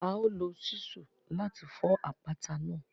A o lo Ṣísù láti fọ àpáta náà